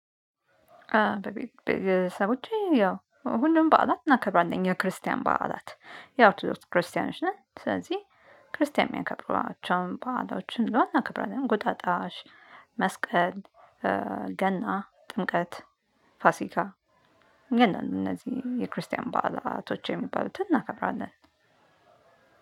በቤተሰቦቼ ያው ሁሉም በዓላት እናከብራለን ክርስቲያን በዓላት ያው ኦርቶዶክስ ክርስቲያኖች ነን። ስለዚህ ክርስቲያን የሚያከብሯቸውን ባእሎችን እናከብራለን። እንቁጣጣሽ መስቀል ገና ጥምቀት ፋሲካ። ግን እነዚህ የክርስቲያን ባህላቶች የሚባሉትን እናከብራለን።